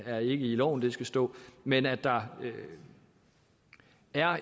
er ikke i loven det skal stå men at der er